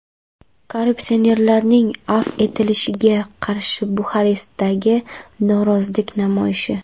Korrupsionerlarning afv etilishiga qarshi Buxarestdagi norozilik namoyishi.